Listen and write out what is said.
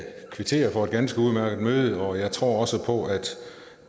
kvitterer for et ganske udmærket møde og jeg tror også på at